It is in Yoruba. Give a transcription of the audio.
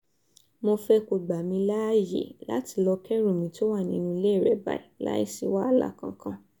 mo fẹ́ kó gbà mí láàyè láti lọ́ọ́ kẹ́rù mi tó wà nínú ilé rẹ báyìí láì sí wàhálà kankan